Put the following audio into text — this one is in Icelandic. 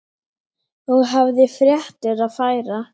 Og hafði fréttir að færa.